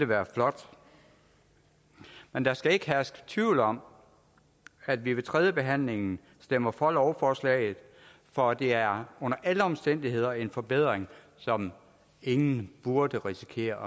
være flot men der skal ikke herske tvivl om at vi ved tredjebehandlingen stemmer for lovforslaget for det er under alle omstændigheder en forbedring som ingen burde risikere